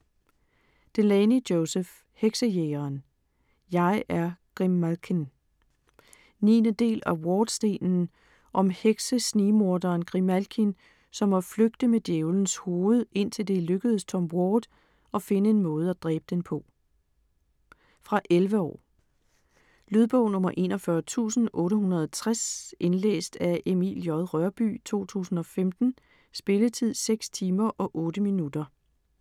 Delaney, Joseph: Heksejægeren - jeg er Grimalkin 9. del af Wardstenen. Om hekse-snigmorderen Grimalkin, som må flygte med Djævelens hoved, indtil det er lykkedes Tom Ward at finde en måde at dræbe den på. Fra 11 år. Lydbog 41860 Indlæst af Emil J. Rørbye, 2015. Spilletid: 6 timer, 8 minutter.